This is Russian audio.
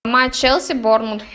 матч челси борнмут